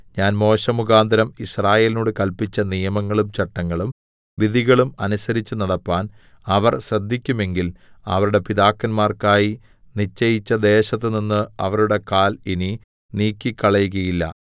ഞാൻ മോശെമുഖാന്തരം യിസ്രായേലിനോട് കല്പിച്ച നിയമങ്ങളും ചട്ടങ്ങളും വിധികളും അനുസരിച്ചു നടപ്പാൻ അവർ ശ്രദ്ധിക്കുമെങ്കിൽ അവരുടെ പിതാക്കന്മാർക്കായി നിശ്ചയിച്ച ദേശത്തുനിന്ന് അവരുടെ കാൽ ഇനി നീക്കിക്കളകയില്ല